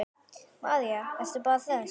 María: Ertu bara hress?